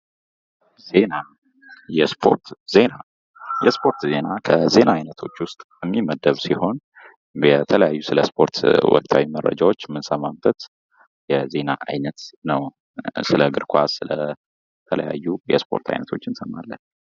ዜና የስፖርት ዜና የስፖርት ዜና ከዜና አይነቶች ውስጥ የሚመደብ ሲሆን የተለያዩ ስለስፖርት ወሳኝ መረጃዎችን የምንሰማበት የዜና አይነት ነው። ስለ እግርኳስ የተለያዩ የስፖርት አይነቶች እንሰማለን።